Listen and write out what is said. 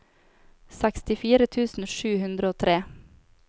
sekstifire tusen sju hundre og tre